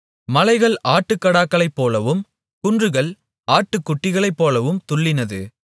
மலைகள் ஆட்டுக்கடாக்களைப்போலவும் குன்றுகள் ஆட்டுக்குட்டிகளைப்போலவும் துள்ளினது